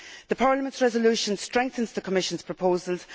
Parliament's resolution strengthens the Commission's proposals.